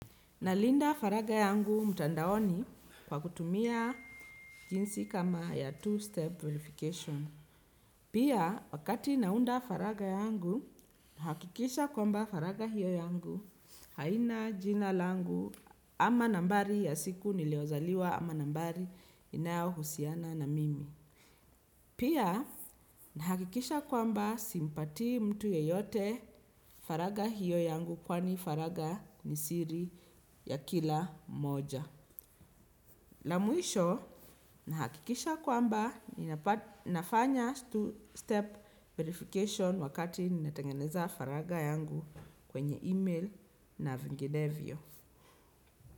Nalinda faraga yangu mutandaoni kwa kutumia jinsi kama ya two-step verification. Pia, wakati naunda faraga yangu, nahakikisha kwamba faraga hiyo yangu haina jina langu ama nambari ya siku niliyozaliwa ama nambari inayohusiana na mimi. Pia, nahakikisha kwamba simpatii mtu yeyote faraga hiyo yangu kwani faraga ni siri ya kila mmoja. La mwisho, nahakikisha kwamba, ninafanya two-step verification wakati nina tengeneza faraga yangu kwenye email na vinginevyo.